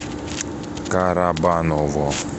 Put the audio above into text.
карабаново